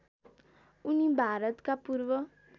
उनी भारतका पूर्व